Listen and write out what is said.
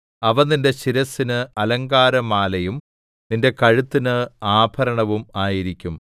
അവ നിന്റെ ശിരസ്സിന് അലങ്കാരമാലയും നിന്റെ കഴുത്തിന് ആഭരണവും ആയിരിക്കും